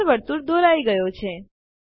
આંતર વર્તુળ દોરાઈ ગયો છે